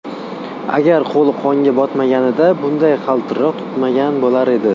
Agar qo‘li qonga botmaganida bunday qaltiroq tutmagan bo‘lar edi.